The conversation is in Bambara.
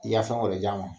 I ka fɛn wɛrɛ de d'a ma